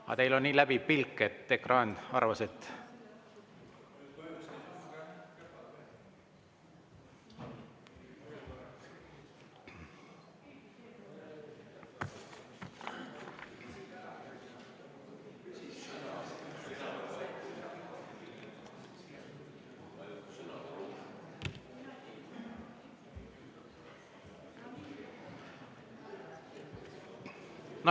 Aga teil on nii läbiv pilk, et ekraan arvas, et …